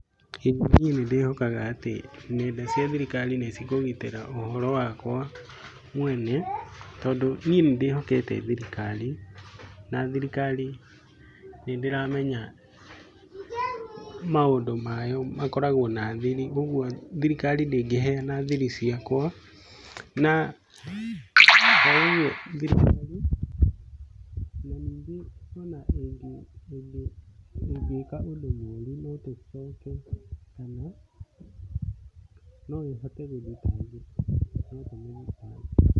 ĩĩ niĩ nĩ ndĩhokaga atĩ nenda cia thirikari nĩ cikũgitĩra ũhoro wakwa mwene, tondũ niĩ nĩ ndĩhokete thirikari. Na thirikari nĩ ndĩramenya maũndũ mayo makoragwo na thiri. Ũguo thirikari ndĩngĩheana thiri ciakwa. Na oguo thirikari na ningĩ ona ĩngĩka ũndũ mũru no ithitangwo kana no ĩhote gũthitangĩka.